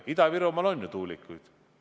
Ja Ida-Virumaal on ju tuulikuid.